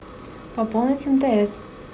пополнить мтс